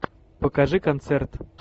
покажи концерт